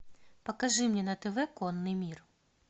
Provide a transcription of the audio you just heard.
покажи мне на тв конный мир